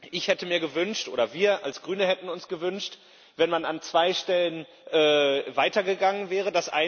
Ich hätte mir gewünscht, oder wir als Grüne hätten uns gewünscht, dass man an zwei Stellen weitergegangen wäre.